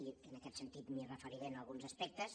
i en aquest sentit m’hi referiré en alguns aspectes